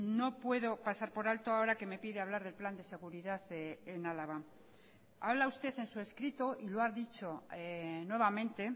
no puedo pasar por alto ahora que me pide hablar del plan de seguridad en álava habla usted en su escrito y lo ha dicho nuevamente